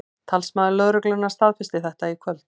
Talsmaður lögreglunnar staðfesti þetta í kvöld